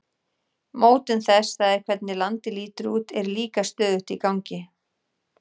Mótun þess, það er hvernig landið lítur út, er líka stöðugt í gangi.